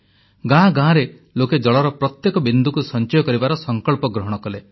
ଗାଁ ଗାଁରେ ଲୋକେ ଜଳର ପ୍ରତ୍ୟେକ ବିନ୍ଦୁକୁ ସଂଚୟ କରିବାର ସଂକଳ୍ପ ଗ୍ରହଣ କଲେ